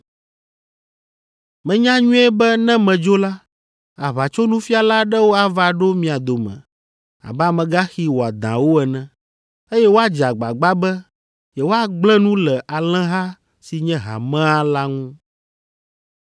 Menya nyuie be ne medzo la, aʋatsonufiala aɖewo ava ɖo mia dome abe amegaxi wɔadãwo ene, eye woadze agbagba be yewoagblẽ nu le alẽha si nye hamea la ŋu.